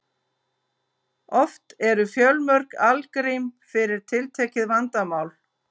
Oft eru til fjölmörg algrím fyrir tiltekið vandamál.